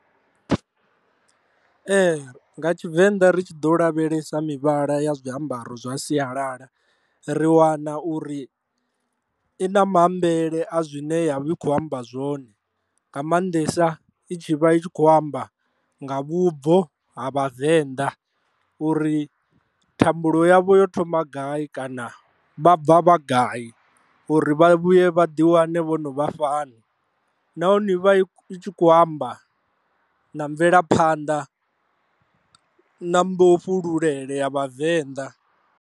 Ee, nga tshivenḓa ri tshi ḓo lavhelesa mivhala ya zwiambaro zwa sialala ri wana uri i na maambele a zwine ya vha i khou amba zwone nga mannḓesa i tshi vha i tshi khou amba nga vhubvo ha vhavenḓa uri thambulo yavho yo thoma gai kana vha bva vha gai uri vha vhuye vha ḓi wane vho no vha fhano, nahone i vha i tshi khou amba na mvelaphanḓa na mbofhululele ya vhavenḓa.